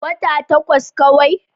Wata takwas kawai.